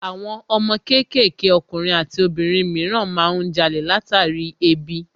Àwọn ọmọ kéékèèké ọkùnrin àti obìnrin mìíràn má ń jalè látàrí ebi